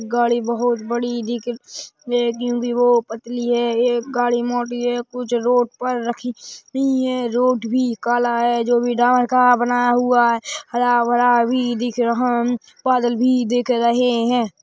गाड़ी बहुत बड़ी दिख क्योकि वो पतली है एक गाडी मोटी है कुछ रोड पर रखी हुई है रोड भी काला है जो भी डामर का बना हुआ है हरा-भरा भी दिख रहा उम बादल भी दिख रहे है।